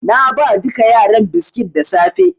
Na ba duka yaran biskit da safe.